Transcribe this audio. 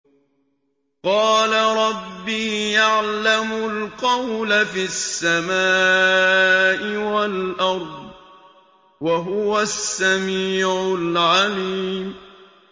قَالَ رَبِّي يَعْلَمُ الْقَوْلَ فِي السَّمَاءِ وَالْأَرْضِ ۖ وَهُوَ السَّمِيعُ الْعَلِيمُ